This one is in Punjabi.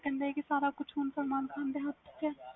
ਕਹਿੰਦੇ ਵ ਸਾਰਾ ਕੁਛ ਸਲਮਾਨ ਖਾਨ ਦੇ ਹੱਥ ਚ ਆ